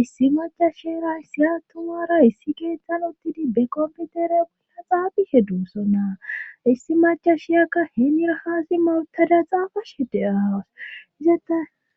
issi macashira issiya tumara issi geethan uttidi be komputere ua xaafishe duussonnaa issi macashiyakka heenirahaasi mautada xaafa shede aawas izette